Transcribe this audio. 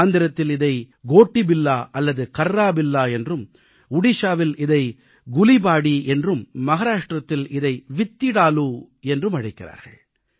ஆந்திரத்தில் இதைக் கோட்டிபில்லா அல்லது கர்ராபில்லா என்றும் ஒடிஷாவில் இதை குலீபாடீ என்றும் மகாராஷ்டிரத்தில் இதை வித்திடாலூ என்றும் அழைக்கிறார்கள்